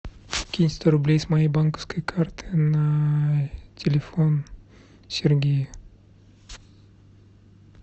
кинь сто рублей с моей банковской карты на телефон сергея